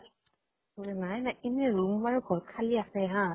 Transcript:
নাই নাই। এনে room মানে ঘৰত খালি আছে হা